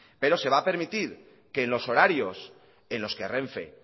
pero se va a permitir que en los horarios en los que renfe